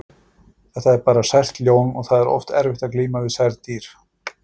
Þetta er bara sært ljón og það er oft erfitt að glíma við særð dýr.